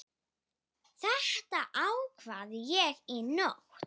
Þetta ákvað ég í nótt.